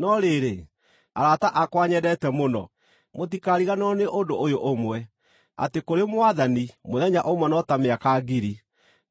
No rĩrĩ, arata akwa nyendete mũno, mũtikariganĩrwo nĩ ũndũ ũyũ ũmwe, atĩ kũrĩ Mwathani mũthenya ũmwe no ta mĩaka ngiri,